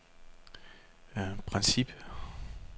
Príncipe